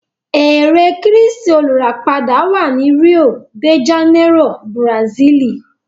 Ère kírístì olùràpadà wà ní Rio de Janeiro, Bùràsílì.